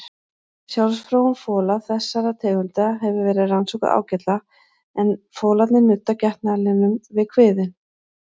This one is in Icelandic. Sjálfsfróun fola þessara tegunda hefur verið rannsökuð ágætlega en folarnir nudda getnaðarlimnum við kviðinn.